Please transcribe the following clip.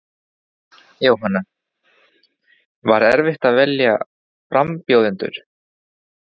Jóhanna: Var erfitt að velja frambjóðendur?